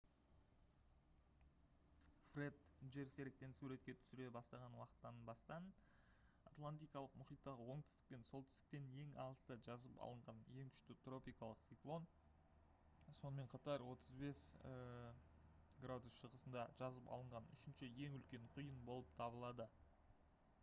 фред жерсеріктен суретке түсіре бастаған уақыттан бастан атлантикалық мұхиттағы оңтүстік пен солтүстіктен ең алыста жазып алынған ең күшті тропикалық циклон сонымен қатар 35°w шығысында жазып алынған үшінші ең үлкен құйын болып табылады